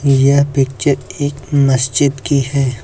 यह पिक्चर एक मस्जिद की है।